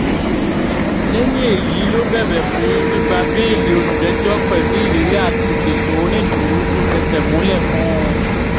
lẹ́yìn èyí ló bẹ̀bẹ̀ fún gbígbà bẹ́ẹ́lí olùjẹ́jọ́ pẹ̀lú ìlérí àti ṣètò onídùúró tó fẹsẹ̀ múlẹ̀ fún un